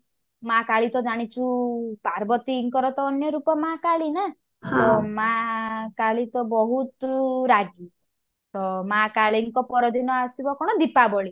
ମାଆ କାଳୀ ତ ଜାଣିଛୁ ପାର୍ବତୀଙ୍କର ତ ଅନ୍ୟ ରୂପ ମାଆ କାଳୀ ନା ମାଆ କାଳୀ ତ ବହୁତ ରାଗି ତ ମାଆ କାଳୀଙ୍କ ପର ଦିନ ଆସିବ କଣ ଦୀପାବଳି